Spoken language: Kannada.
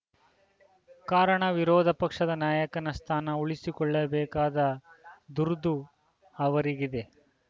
ಕಾರಣ ವಿರೋಧ ಪಕ್ಷದ ನಾಯಕನ ಸ್ಥಾನ ಉಳಿಸಿಕೊಳ್ಳಬೇಕಾದ ದುರ್ದು ಅವರಿಗಿದೆ